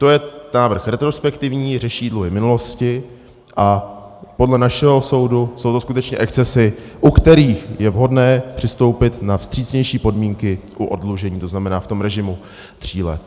To je návrh retrospektivní, řeší dluhy minulosti a podle našeho soudu jsou to skutečně excesy, u kterých je vhodné přistoupit na vstřícnější podmínky u oddlužení, to znamená v tom režimu tří let.